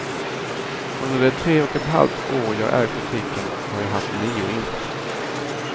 Under de tre och ett halvt år jag ägt butiken har jag haft nio inbrott.